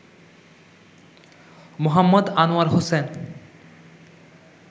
Md. Anwar Hossain